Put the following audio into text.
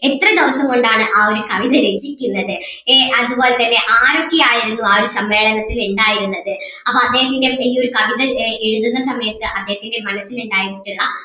എത്ര ദിവസം കൊണ്ട് ആണ് ആ ഒരു കവിത രചിക്കുന്നത് ഏഹ് അതുപോലെ തന്നെ ആരൊക്കെയായിരുന്നു ആ ഒരു സമ്മേളനത്തിൽ ഇണ്ടായിരുന്നത് അപ്പം അദ്ദേഹം ഇങ്ങനെ ഈ ഒരു കവിത ഏർ എഴുതുന്ന സമയത്ത് അദ്ദേഹത്തിൻ്റെ മനസ്സിൽ ഇണ്ടായിരുന്നിട്ടുള്ള